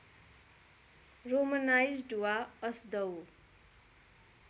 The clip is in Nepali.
रोमनाइज्ड वा असदउ